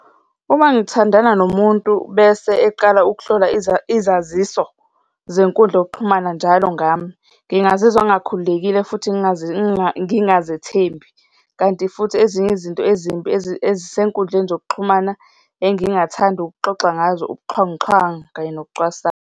Uma ngithandana nomuntu bese eqala ukuhlola izaziso zenkundla yokuxhumana njalo ngami, ngingazizwa ngingakhululekile futhi ngingazethembi. Kanti futhi ezinye izinto ezimbi ezisenkundleni zokuxhumana engingathanda ukuxoxa ngazo ubuxhwanguxhwangu kanye nokucwasana.